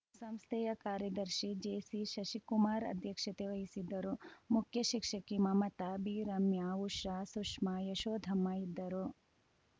ಸಂಸ್ಥೆಯ ಕಾರ್ಯದರ್ಶಿ ಜೆಸಿಶಿಶಕುಮಾರ್‌ ಅಧ್ಯಕ್ಷತೆ ವಹಿಸಿದ್ದರುಮುಖ್ಯಶಿಕ್ಷಕಿ ಮಮತಾ ಬಿರಮ್ಯ ಉಷಾ ಸುಷ್ಮಾ ಯಶೋಧಮ್ಮ ಇದ್ದರು